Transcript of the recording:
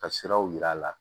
Ka siraw yir'a la